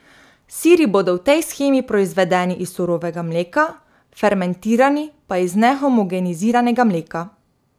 Siri bodo v tej shemi proizvedeni iz surovega mleka, fermentirani pa iz nehomogeniziranega mleka.